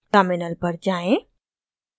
terminal पर जाएँ